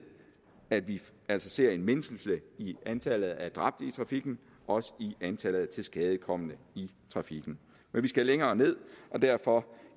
at vi altså ser en mindskelse i antallet af dræbte i trafikken og også i antallet af tilskadekomne i trafikken men vi skal længere ned og derfor